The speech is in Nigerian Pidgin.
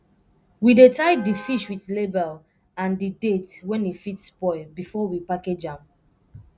we dey tie di fish with label and di date wen e fit spoil before we package am